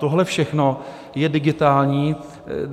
Tohle všechno je digitální.